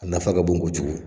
A nafa ka bon ko jugu.